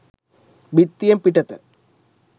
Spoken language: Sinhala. බිත්තියෙන් පිටත